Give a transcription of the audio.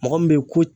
Mɔgɔ min bɛ ye ko